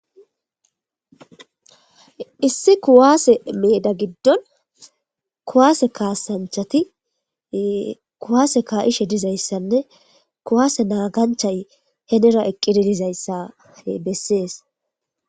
issi kuwaase meeda giddon kuwaase kaasanchati kuwaase kaa7ishe dizayssanne kuwaase naaganchay henira eqqidi dizayssa bessees.